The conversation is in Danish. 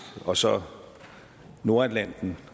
og så nordatlanten